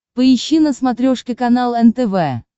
поищи на смотрешке канал нтв